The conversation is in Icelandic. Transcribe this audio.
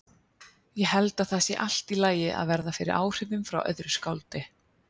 Ég held að það sé allt í lagi að verða fyrir áhrifum frá öðru skáldi.